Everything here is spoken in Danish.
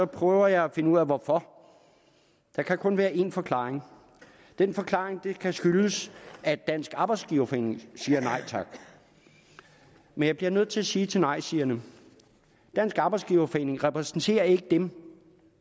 prøver jeg at finde ud af hvorfor der kan kun være en forklaring en forklaring det kan skyldes at dansk arbejdsgiverforening siger nej tak men jeg bliver nødt til at sige til nejsigerne dansk arbejdsgiverforening repræsenterer ikke dem